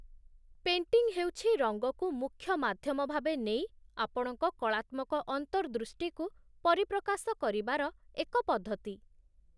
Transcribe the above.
painting ହେଉଛି ରଙ୍ଗକୁ ମୁଖ୍ୟ ମାଧ୍ୟମ ଭାବେ ନେଇ ଆପଣଙ୍କ କଳାତ୍ମକ ଅନ୍ତର୍ଦୃଷ୍ଟିକୁ ପରିପ୍ରକାଶ କରିବାର ଏକ ପଦ୍ଧତି